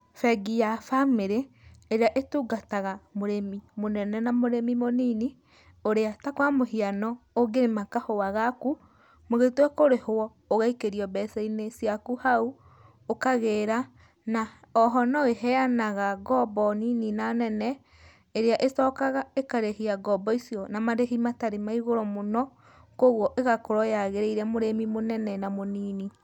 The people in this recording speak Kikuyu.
Bengi ya bamĩrĩ, ĩrĩa ĩtungataga mũrĩmi mũnene na mũrĩmi mũnini, ũrĩa ta kwa mũhiano ũngĩrĩma kahũa gaku, mũgĩtua kũrĩhwo ũgaikĩrio mbeca-inĩ ciaku hau, ũkagĩra, na oho no ĩheanaga ngombo nini na nene, ĩrĩa ĩcokaga ĩkarĩhia ngombo icio na marehi matarĩ ma igũrũ mũno, kogwo ĩgakorwo yagĩrĩire mũrĩmi mũnene na mũnini.